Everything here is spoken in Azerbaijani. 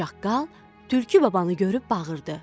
Çaqqal tülkü babanı görüb bağırdı.